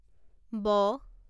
ব